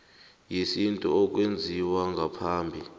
yesintu okwenziwe ngaphambi